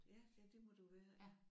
Ja ja det må du jo være